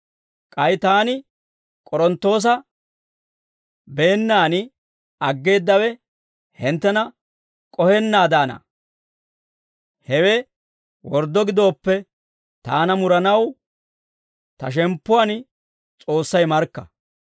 K'ay taani K'oronttoosa beennaan aggeeddawe hinttena K'ohennaadaana. Hewe worddo gidooppe taana muranaw ta shemppuwaan S'oossay markka.